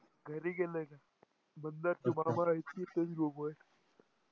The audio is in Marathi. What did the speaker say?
घरी गेलाय. दादा इतका चेंज झाला आहे